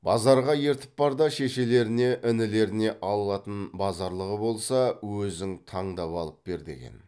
базарға ертіп бар да шешелеріне інілеріне алатын базарлығы болса өзің таңдап алып бер деген